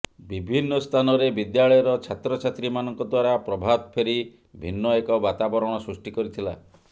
ବିଭିନ୍ନ ସ୍ଥାନରେ ବିଦ୍ୟାଳୟର ଛାତ୍ର ଛାତ୍ରୀ ମାନଙ୍କ ଦ୍ୱାରା ପ୍ରଭାତଫେରିି ଭିନ୍ନ ଏକ ବାତାବରଣ ସୃଷ୍ଟି କରିଥିଲା